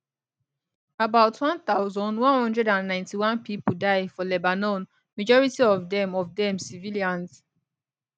about 1191 pipo die for lebanon majority of dem of dem civilians